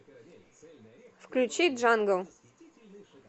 включи джангл